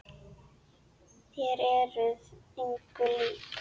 Þér eruð engum lík!